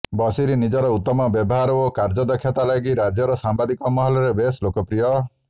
ବସୀର ନିଜର ଉତ୍ତମ ବ୍ୟବହାର ଓ କାର୍ୟ୍ୟଦକ୍ଷତା ଲାଗି ରାଜ୍ୟର ସାମ୍ବାଦିକ ମହଲରେ ବେଶ୍ ଲୋକପ୍ରିୟ ଥିଲେ